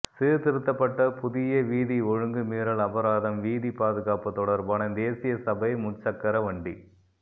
சீர்த்திருத்தப்பட்ட புதிய வீதி ஒழுங்கு மீறல் அபராதம் வீதி பாதுகாப்பு தொடர்பான தேசிய சபை முச்சக்கர வண்டி